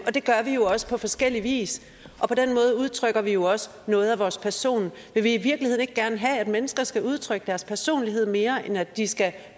det gør vi jo også på forskellig vis og på den måde udtrykker vi jo også noget af vores personlighed vil vi i virkeligheden ikke gerne have at mennesker skal udtrykke deres personlighed mere end at de skal